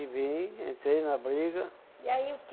E vim, entrei na briga.